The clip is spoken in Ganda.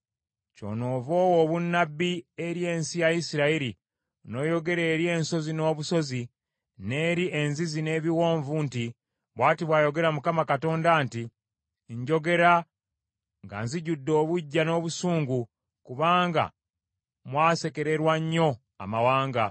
Kyonoova owa obunnabbi eri ensi ya Isirayiri n’oyogera eri ensozi n’obusozi, n’eri enzizi n’ebiwonvu nti, bw’ati bw’ayogera Mukama Katonda nti, Njogera nga nzijudde obuggya n’obusungu kubanga mwasekererwa nnyo amawanga.